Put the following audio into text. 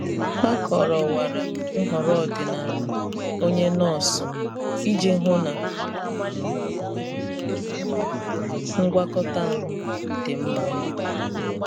Hà kọ́ròwara nhọrọ ọdịnala onye nọọsụ iji hụ na ngwakọta ahụ dị mma.